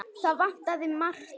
Það vantaði margt.